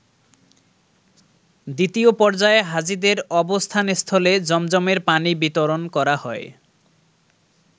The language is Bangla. দ্বিতীয় পর্যায়ে হাজীদের অবস্থানস্থলে জমজমের পানি বিতরণ করা হয়।